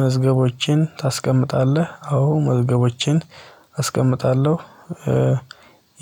መዝገቦችን ታስቀምጣለህ? አዎ መዝገቦችን አስቀምጣለሁ።